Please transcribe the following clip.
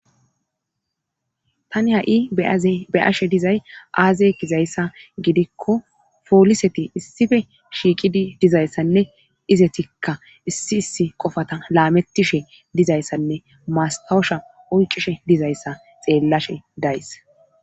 tani ha7i beyashe dizay aaze gizayssa gidikko pooliseti issife shiiqidi dizayssanne izetikka issi issi qofata laamettishe dizayssanne masawusha oycishe dizayssa xeellashe days